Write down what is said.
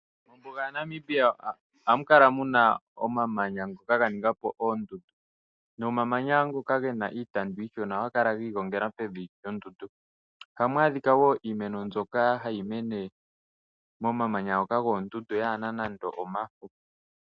Mombuga ya Namibia ohamu kala muna omamanya ngoka ga ningapo oondundu, nomamanya ngoka gena iitandu iishona ohaga kala gi igongela pevi lyondundu. Ohamu adhika woo iimeno mbyoka hayi mene momamanya ngoka goondundu kayina nando omafo.